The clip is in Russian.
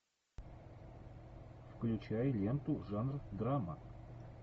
включай ленту жанр драма